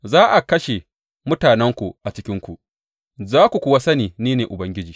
Za a kashe mutanenku a cikinku, za ku kuwa sani ni ne Ubangiji.